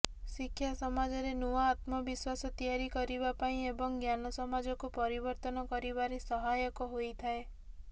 ଶିକ୍ଷା ସମାଜରେ ନୂଆ ଆତ୍ମବିଶ୍ୱାସ ତିଆରି କରିବା ପାଇଁ ଏବଂ ଜ୍ଞାନ ସମାଜକୁ ପରିବର୍ତ୍ତନ କରିବାରେ ସହାୟକ ହୋଇଥାଏ